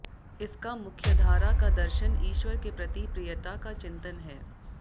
इसका मुख्यधारा का दर्शन ईश्वर के प्रति प्रियता का चिंतन है